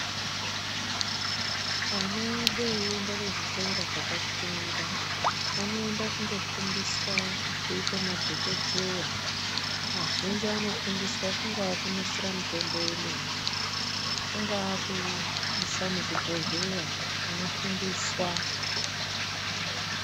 Ana edu eienda kuzvikora zvakakwirira, anoenda kundofundiswa kuita madhokoteya. Kazhinji anofundiswa, kungaa kunasira mitombo yemene kungaa kuisa muzvibhodhleya kunofundiswa.